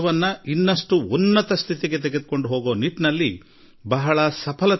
ನಾನು ನಮ್ಮ ಎಲ್ಲಾ ರೈತ ಸೋದರರಿಗೆ ಉತ್ತಮ ಮಳೆಗಾಲದ ವಿಶ್ವಾಸದೊಂದಿಗೆ ಶುಭಾಶಯಗಳನ್ನು ತಿಳಿಸುತ್ತೇನೆ